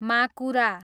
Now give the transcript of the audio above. माकुरा